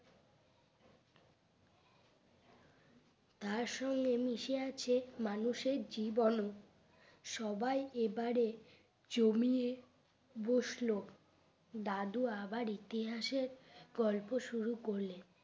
তার সঙ্গে মিশে আছে মানুষের জীবনও সবাই এবারে জমিয়ে বসলো দাদু আবার ইতিহাসের গল্প শুরু করলেন